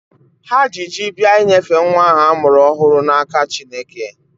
Ha ji ji bịa inyefe nwa ahụ a mụrụ ọhụrụ n'aka Chineke.